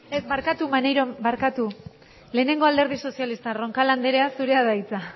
ez barkatu maneiro barkatu lehenengo alderdi sozialista roncal anderea zurea da hitza